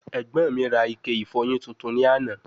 Ẹgbọn mi ra Ike ifọyin tuntun ni ana